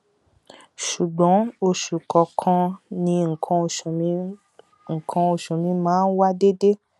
ṣùgbọn oṣù kọọkan ni nǹkan oṣù mi nǹkan oṣù mi máa ń wá déédé